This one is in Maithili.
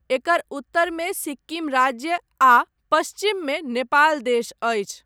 एकर उत्तरमे सिक्किम राज्य आ पश्चिममे नेपाल देश अछि।